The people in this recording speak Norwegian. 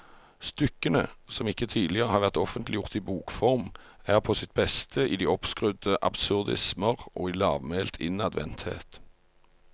Stykkene, som ikke tidligere har vært offentliggjort i bokform, er på sitt beste i de oppskrudde absurdismer og i lavmælt innadvendthet.